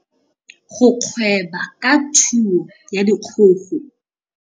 Go gweba ka thuo ya dikgogo.